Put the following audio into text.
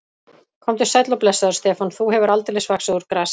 Komdu sæll og blessaður, Stefán, þú hefur aldeilis vaxið úr grasi.